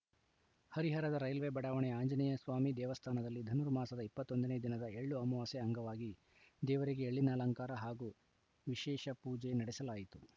ಹರಿಹರದ ರೈಲ್ವೆ ಬಡಾವಣೆಯ ಆಂಜನೇಯ ಸ್ವಾಮಿ ದೇವಸ್ಥಾನದಲ್ಲಿ ಧನುರ್ಮಾಸದ ಇಪ್ಪತ್ತೊಂದ ನೇ ದಿನದ ಎಳ್ಳು ಅಮಾವಾಸ್ಯೆ ಅಂಗವಾಗಿ ದೇವರಿಗೆ ಎಳ್ಳಿನ ಅಲಂಕಾರ ಹಾಗೂ ವಿಶೇಷ ಪೂಜೆ ನಡೆಸಲಾಯಿತು